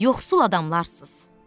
Yoxsul adamlarsız.